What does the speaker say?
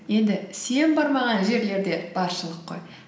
енді сен бармаған жерлер де баршылық қой